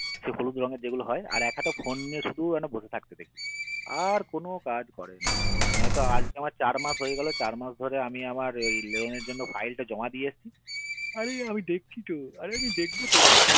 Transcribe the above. হলুদ রঙের যেগুলো হয় আর একহাতে একটা phone নিয়ে শুধু এটা বসে থাকতে দেখি আর কোনো কাজ করে না নয়তো আমার চার মাস হয়ে গেলো চার মাস ধরে আমি আমার loan এর জন্য file টা জমা দিয়েছি আরে আমি দেখছি তো আরে আমি দেখবো তো